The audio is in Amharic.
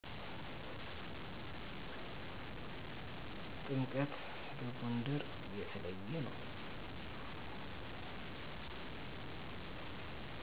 ጥምቀት በጎንደር የተለየ ነዉ